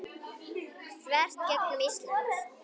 þvert gegnum Ísland.